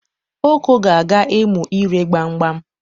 Oko ga-aga ịmụ ire gbam gbam.